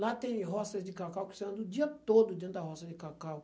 Lá tem roças de cacau que você anda o dia todo dentro da roça de cacau.